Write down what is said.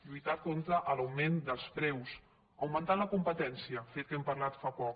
lluitar contra l’augment dels preus augmentant la competència fet que n’hem parlat fa poc